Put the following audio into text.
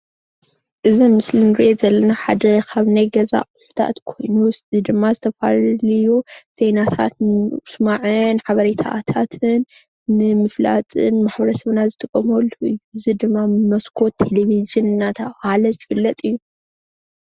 እዚ ኣብ ምስሊ እንሪኦ ዘለና ሓደ ኻብ ናይ ገዛ ኣቁሑታት ኾይኑ እዚ ድማ ዝተፈላለዩ ዜናታት ንምስማዕን ሓበሬታታትን ንምፍላጥን ማሕበረሰብና ዝጥቀመሉ እዩ እዚ ድማ መስኮት ቴሌቭዥን እናተብሃለ ዝፍለጥ እዩ